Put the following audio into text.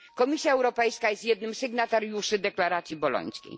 Komisja Europejska jest jednym z sygnatariuszy Deklaracji Bolońskiej.